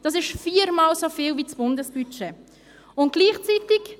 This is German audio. Dies ist viermal so viel wie das Bundesbudget beträgt.